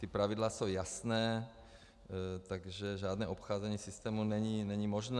Ta pravidla jsou jasná, takže žádné obcházení systému není možné.